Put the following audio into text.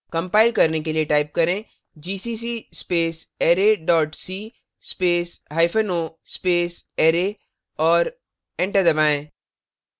compile के लिए type करें gcc space array dot c space hypen o space array और enter दबाएं